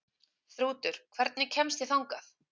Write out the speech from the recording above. Þrútur, hvernig kemst ég þangað?